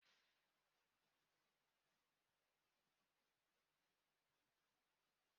Ndị agha zọpụtara Ngozi n'aka ndị ntọrọ mmadụ ụnyaahụ.